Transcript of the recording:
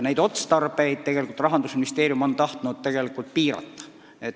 Neid otstarbeid on Rahandusministeerium tahtnud tegelikult piirata.